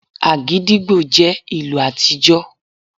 Agidigbo jẹ́ ìlù àtijọ